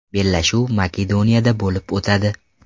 Bellashuv Makedoniyada bo‘lib o‘tadi.